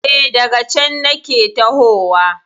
E, daga cen nake tahowa.